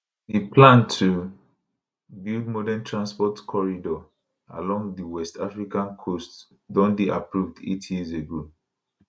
di plan to build modern transport corridor along di west african coast don dey approved eight years ago